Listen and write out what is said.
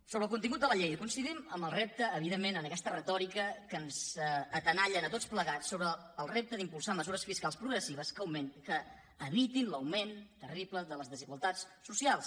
sobre el contingut de la llei coincidim en el repte evidentment en aquesta retòrica que ens tenallen a tots plegats d’impulsar mesures fiscals progressives que evitin l’augment terrible de les desigualtats socials